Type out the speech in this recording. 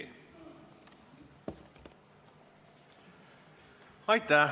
Aitäh!